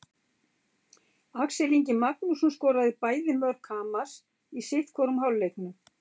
Axel Ingi Magnússon skoraði bæði mörk Hamars í sitthvorum hálfleiknum.